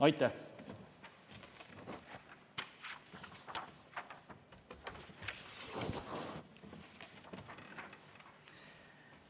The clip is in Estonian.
Aitäh!